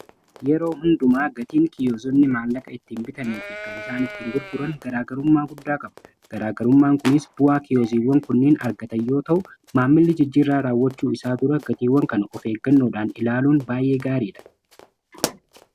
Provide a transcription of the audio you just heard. Yeroo hundumaa gatiin kiyoozonni maallaqa ittiin bitanii fi kan isaan ittiin gurguran garaagarummaa guddaa qaba. Garaagarummaan kunis bu'aa kiyooziiwwan kunniin argatan yoo ta'u; Maammilli jijjiirraa raawwachuu isaa dura gatiiwwan kan of eeggannoodhaan ilaaluun baay'ee gaariidha.